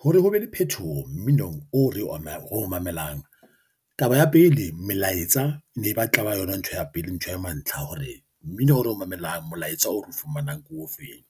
Hore ho be le phethoho mminong o re o mamelang taba ya pele, melaetsa e ne ba tla ba yona ntho ya pele, ntho ya mantlha hore mmino o re o mamelang molaetsa o re o fumanang ke o feng.